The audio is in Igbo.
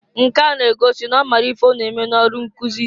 Nke a n'egosi n'ọ maalụ ife ọ na-eme n'ọlụ nkụzị.